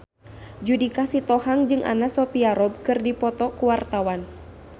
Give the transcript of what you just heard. Judika Sitohang jeung Anna Sophia Robb keur dipoto ku wartawan